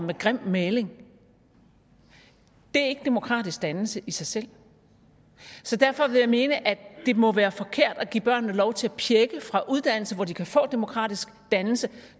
med grim maling det er ikke demokratisk dannelse i sig selv så derfor vil jeg mene at det må være forkert at give børnene lov til at pjække fra uddannelse hvor de kan få demokratisk dannelse